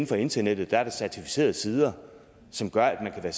på internettet er der certificerede sider som gør at man